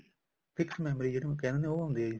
fix memory ਜਿਨੂੰ ਕਹਿੰਦੇ ਨੇ ਉਹ ਹੁੰਦੀ ਆ